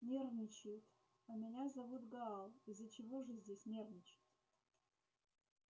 нервничают а меня зовут гаал из-за чего же здесь нервничать